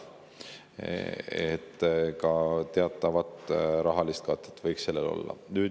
Nii et ka teatav rahaline kate võiks sellel olla.